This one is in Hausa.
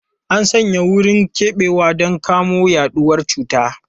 An sanya wurin keɓewa don kamo yaduwar cutar.